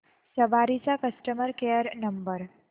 सवारी चा customer care number